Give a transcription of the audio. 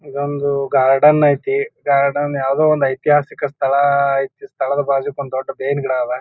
ಇದೊಂದು ಗಾರ್ಡನ್ ಐತಿ. ಗಾರ್ಡನ್ ಯಾವುದೊ ಒಂದು ಐತಿಹಾಸಿಕ ಸ್ಥಳ ಐತಿ. ಸ್ಥಳದ ಬಾಜೂಕ್ ಒಂದ ದೊಡ್ಡ್ ಬೇವಿನ ಗಿಡ ಅವ.